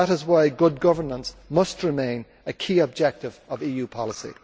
That is why good governance must remain a key objective of EU policy.